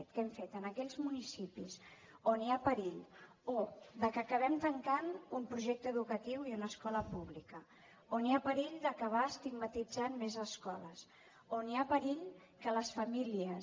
què hem fet en aquells municipis on hi ha perill que acabem tancant un projecte educatiu i una escola pública on hi ha perill d’acabar estigmatitzant més escoles on hi ha perill que les famílies